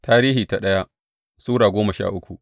daya Tarihi Sura goma sha uku